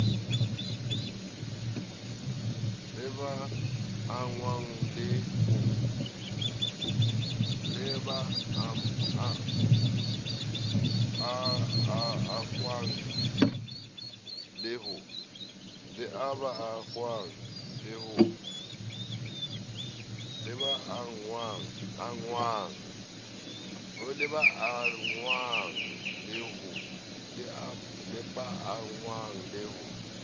le ba angwang le ho